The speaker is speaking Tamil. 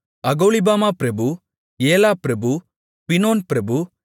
அகோலிபாமா பிரபு ஏலா பிரபு பினோன் பிரபு